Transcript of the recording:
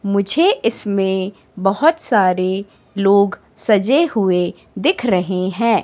मुझे इसमें बहोत सारे लोग सजे हुए दिख रहे हैं।